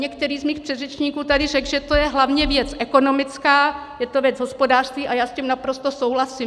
Některý z mých předřečníků tady řekl, že to je hlavně věc ekonomická, je to věc hospodářství, a já s tím naprosto souhlasím.